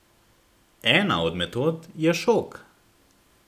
Ena od metod je šok.